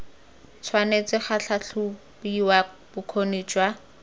tshwanetse ga tlhatlhobiwa bokgoni jwa